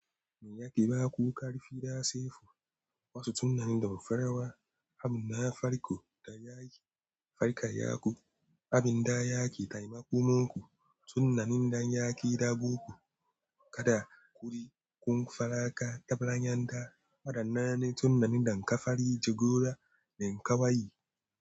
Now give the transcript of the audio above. Mai yake ba ku ƙarfi da saifu, wasu tunanin da farawa, abin da farko da yake farka yaku, abin da yake taimakonku, tunanin da yake rabo ku, kada kuri'un faraƙa ta filayen da faɗannai tunanin da ka fara jigora da ka wayi.